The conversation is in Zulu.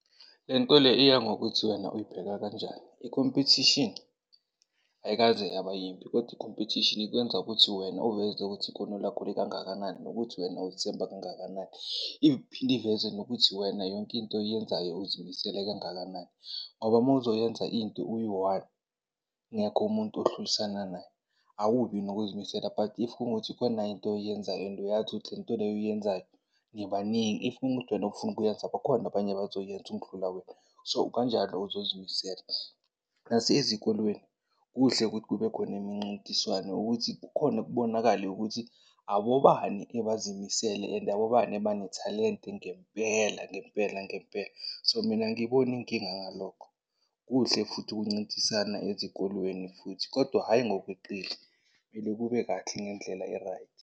Le nto le iyangokuthi wena uyibheka kanjani. Ikhompethishini ayikaze yaba yimbi kodwa ikhompethishini ikwenza ukuthi wena uveze ukuthi ikhono lakho likangakanani nokuthi wena uzithemba kangakanani. Iphinde iveze nokuthi wena yonke into oyenzayo uzimisele kangakanani ngoba mawuzoyenza into uyi-one kungekho umuntu ohlulisana naye awubi nokuzimisela. But if kungukuthi kukhona into oyenzayo and uyazi ukuthi le nto le oyenzayo nibaningi, if kungukuthi wena awufuni ukuyenza bakhona abanye abazoyenza ukundlula wena. So, kanjalo uzozimisela. Nasezikolweni kuhle ukuthi kube khona imincintiswano ukuthi kukhone kubonakale ukuthi abobani ebazimisele and abobani abanethalente ngempela ngempela ngempela. So, mina angiyiboni inkinga yalokho. Kuhle futhi ukuncintisana ezikolweni futhi kodwa hhayi ngokweqile, kumele kube kahle ngendlela e-right.